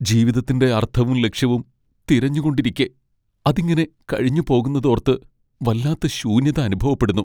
ജീവതത്തിൻ്റെ അർത്ഥവും ലക്ഷ്യവും തിരഞ്ഞുകൊണ്ടിരിക്കെ അതിങ്ങനെ കഴിഞ്ഞുപോകുന്നതോർത്ത് വല്ലാത്ത ശൂന്യത അനുഭവപ്പെടുന്നു.